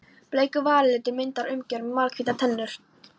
Bleikur varalitur myndar umgjörð um mjallhvítar tennur.